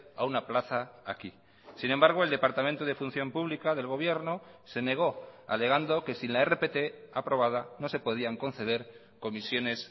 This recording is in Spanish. a una plaza aquí sin embargo el departamento de función pública del gobierno se negó alegando que sin la rpt aprobada no se podían conceder comisiones